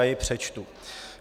Já je přečtu.